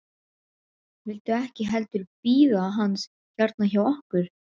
Viltu ekki heldur bíða hans hérna hjá okkur?